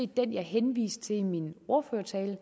den jeg henviste til i min ordførertale og